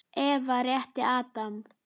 Eva rétti Adam.